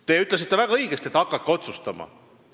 Te ütlesite väga õigesti, et hakake otsustama.